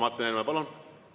Martin Helme, palun!